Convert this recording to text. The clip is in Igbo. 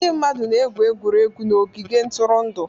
Ndị mmadụ na-egwu egwuregwu n'ogige ntụrụndụ.